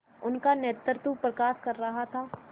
उनका नेतृत्व प्रकाश कर रहा था